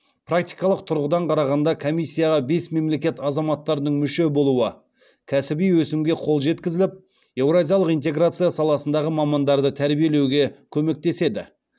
практикалық тұрғыдан қарағанда комиссияға бес мемлекет азаматтардың мүше болуы кәсіби өсімге қол жеткізіліп еуразиялық интеграция саласындағы мамандарды тәрбиелеуге көмектеседі